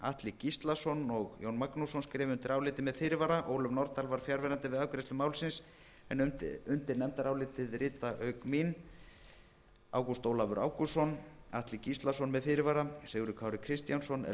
atli gíslason og jón magnússon skrifa undir álitið með fyrirvara ólöf nordal var fjarverandi við afgreiðslu málsins en undir nefndarálitið rita auk mín háttvirtir þingmenn ágúst ólafur ágústsson atli gíslason með fyrirvara sigurður kári kristjánsson ellert b